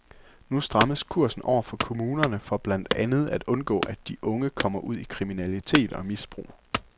Nu strammes kursen over for kommunerne for blandt andet at undgå, at de unge kommer ud i kriminalitet og misbrug.